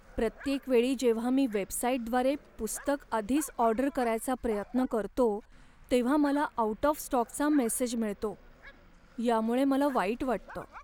प्रत्येक वेळी जेव्हा मी वेबसाइटद्वारे पुस्तक आधीच ऑर्डर करायचा प्रयत्न करतो, तेव्हा मला आउट ऑफ स्टॉकचा मेसेज मिळतो, यामुळे मला वाईट वाटतं.